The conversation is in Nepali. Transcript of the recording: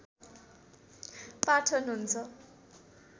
पाठन हुन्छ